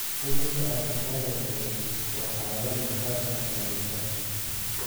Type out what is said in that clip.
Cudurka urtikaria qabow waa xaalad maqaarka saameysa.